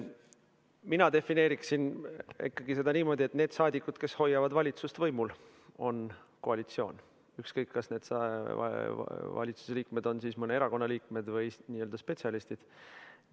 Mina defineeriksin ikkagi seda niimoodi, et need saadikud, kes hoiavad valitsust võimul, on koalitsioon, ükskõik, kas need valitsusliikmed on mõne erakonna liikmed või spetsialistid.